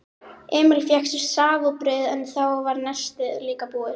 Emil fékk sér safa og brauð en þá var nestið líka búið.